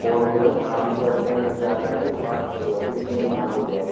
Four wheeler आराम से अपने घर के आगे भाई पार्क हो जाएगी इसलिए यहां पे लिया।